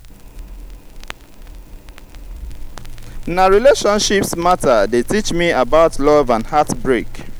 na relationships mata dey teach me about love and heartbreak.